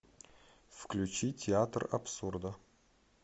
включи театр абсурда